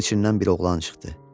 Dənizin içindən bir oğlan çıxdı.